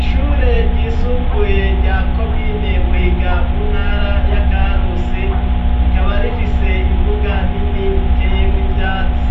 Ishure ryisumbuye rya komine Buhiga, mu ntara ya Karusi, rikaba rifise imbuga nini iteyemwo ivyatsi.